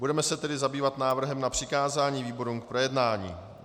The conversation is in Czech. Budeme se tedy zabývat návrhem na přikázání výborům k projednání.